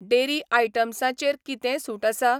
Dairy आयटमसां चेर कितेंय सूट आसा ?